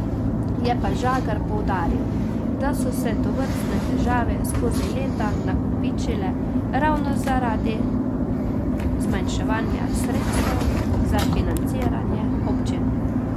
Je pa Žagar poudaril, da so se tovrstne težave skozi leta nakopičile ravno zaradi zmanjševanja sredstev za financiranje občin.